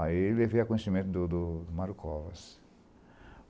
Aí eu levei a conhecimento do do do Mário Covas.